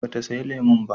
Ba ta saya lemun ba